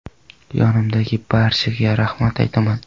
Yonimdagi barchaga rahmat aytaman.